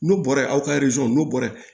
N'u bɔra aw ka n'u bɔra ye